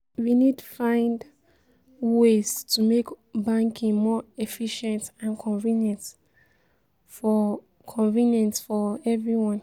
We need find ways to make banking more efficient and convenient for convenient for everyone.